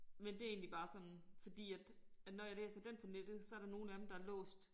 Men det egentlig bare sådan fordi at at når jeg læser den på nettet så der nogle af dem der er låst